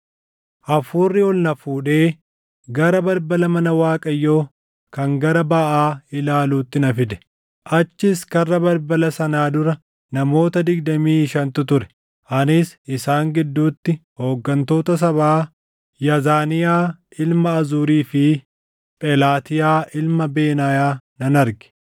Hafuurri ol na fuudhee gara balbala mana Waaqayyoo kan gara baʼaa ilaaluutti na fide. Achis karra balbala sanaa dura namoota digdamii shantu ture; anis isaan gidduutti hooggantoota sabaa Yaazaniyaa ilma Azurii fi Phelaatiyaa ilma Benaayaa nan arge.